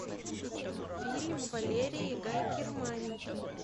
фильм валерии гай германики